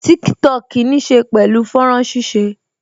Tiktok níí ṣe pẹ̀lú fọ́nrán ṣíṣe